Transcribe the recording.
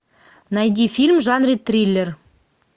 найди фильм в жанре триллер